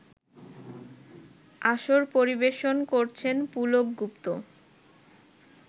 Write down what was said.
আসর পরিবেশন করেছেন পুলক গুপ্ত